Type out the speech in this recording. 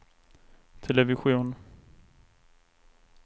television